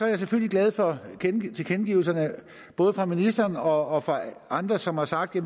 jeg selvfølgelig glad for tilkendegivelserne både fra ministeren og fra andre som har sagt at